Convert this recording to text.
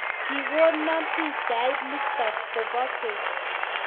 kikono pichait nitok kobo keny